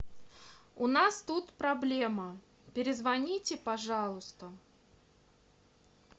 у нас тут проблема перезвоните пожалуйста